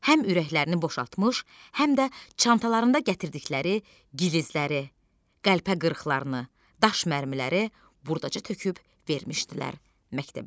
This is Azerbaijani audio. Həm ürəklərini boşaltmış, həm də çantalarında gətirdikləri gilzləri, qəlpə qırıqlarını, daş mərmiləri burdaca töküb vermişdilər məktəbə.